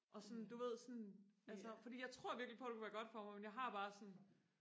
og sådan du ved sådan altså fordi jeg tror virkelig på det ville være godt for mig men jeg har det bare sådan